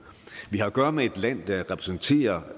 vi har at gøre med et land der repræsenterer